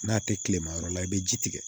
N'a tɛ kile ma yɔrɔ la i bɛ ji tigɛ